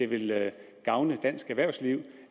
ville gavne dansk erhvervsliv